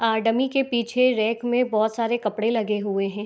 आ dummy के पीछे rack में बहुत सारे कपड़े लगे हुए है।